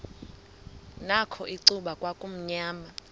nakho icuba kwakumnyama